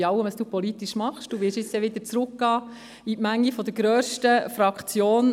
Für alles, was Sie politisch tun, werden Sie jetzt wieder zurückkehren in die Menge der grössten Fraktion.